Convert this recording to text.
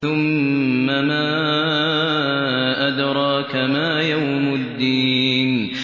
ثُمَّ مَا أَدْرَاكَ مَا يَوْمُ الدِّينِ